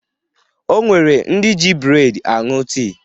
O nwere ndị ji breedi aṅụ tii